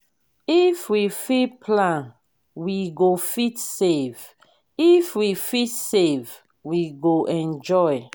if we fit plan we go fit save; if we fit save we go enjoy.